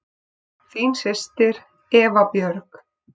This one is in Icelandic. Þín systir, Eva Björg.